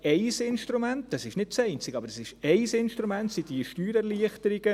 Ein Instrument – und es ist nicht das einzige – sind diese Steuererleichterungen.